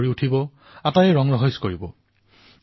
পৰম্পৰাগতভাৱে লক্ষ্মীদেৱীৰ স্বাগতম জনোৱা হয়